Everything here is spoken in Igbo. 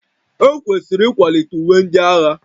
Ekwesịrị ịkwalite uwe ndị agha